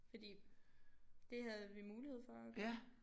Fordi det havde vi mulighed for at gøre